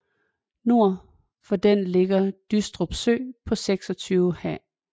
Nord for den ligger Dystrup Sø på 26 ha